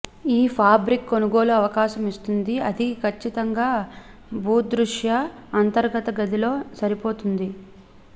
ఈ ఫాబ్రిక్ కొనుగోలు అవకాశం ఇస్తుంది అది ఖచ్చితంగా భూదృశ్య అంతర్గత గది లో సరిపోతుంది